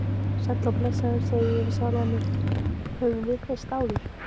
Sæll og blessaður, segi ég við sjálfan mig, höfum við hist áður?